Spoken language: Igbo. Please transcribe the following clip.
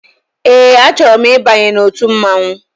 Ee a chọrọ m ịbanye n'ọtu mmanwụ.